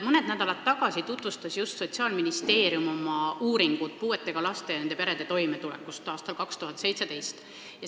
Mõned nädalad tagasi tutvustas just Sotsiaalministeerium oma uurimust puuetega laste ja nende perede toimetuleku kohta aastal 2017.